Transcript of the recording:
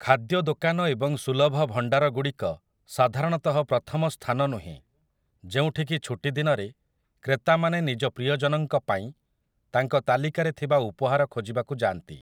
ଖାଦ୍ୟ ଦୋକାନ ଏବଂ ସୁଲଭ ଭଣ୍ଡାର ଗୁଡ଼ିକ ସାଧାରଣତଃ ପ୍ରଥମ ସ୍ଥାନ ନୁହେଁ, ଯେଉଁଠିକି ଛୁଟିଦିନରେ କ୍ରେତାମାନେ ନିଜ ପ୍ରିୟଜନଙ୍କ ପାଇଁ ତାଙ୍କ ତାଲିକାରେ ଥିବା ଉପହାର ଖୋଜିବାକୁ ଯାଆନ୍ତି ।